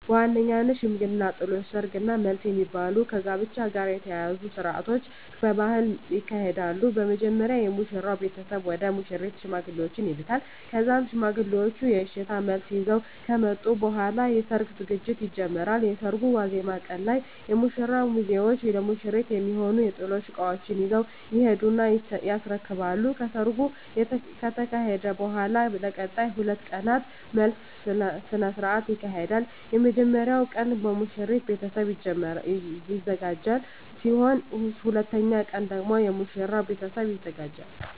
በዋነኝነት ሽምግልና፣ ጥሎሽ፣ ሰርግ እና መልስ የሚባሉ ከጋብቻ ጋር የተያያዙ ስርአቶች በባህሌ ይካሄዳሉ። በመጀመሪያ የሙሽራው ቤተሰብ ወደ ሙሽሪት ሽማግሌዎችን ይልካል ከዛም ሽማግሌዎቹ የእሽታ መልስ ይዘው ከመጡ በኃላ ለሰርጉ ዝግጅት ይጀመራል። የሰርጉ ዋዜማ ቀን ላይ የሙሽራው ሚዜዎች ለሙሽሪት የሚሆኑ የጥሎሽ እቃዎችን ይዘው ይሄዱና ያስረክባሉ። ከሰርጉ ከተካሄደ በኃላም ለቀጣይ 2 ቀናት መልስ ስነ ስርዓት ይካሄዳል። የመጀመሪያው ቀን በሙሽሪት ቤተሰብ የሚዘጋጅ ሲሆን ሁለተኛው ቀን ደግሞ የሙሽራው ቤተሰብ ያዘጋጃል።